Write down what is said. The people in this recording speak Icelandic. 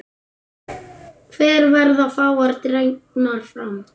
Hér verða fáar dregnar fram.